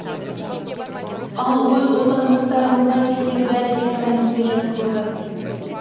ал өз отандастарымызға келсек бәрі де карантинге жатқызылды